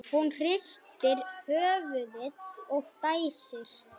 Hún hristir höfuðið og dæsir.